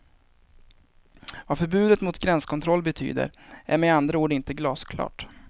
Vad förbudet mot gränskontroll betyder är med andra ord inte glasklart.